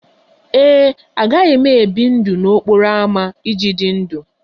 Ee e, agaghị m ebi ndụ n'okporo ámá iji dị ndụ